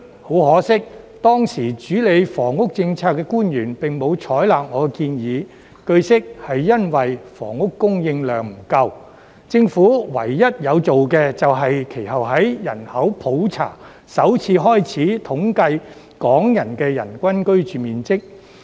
很可惜，當時主理房屋政策的官員並沒有採納我的建議，據悉是因為房屋供應量不足，政府唯一有做的便是其後在人口普查首次開始統計港人的人均居住面積。